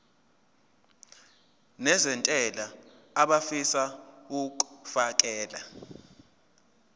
nezentela abafisa uukfakela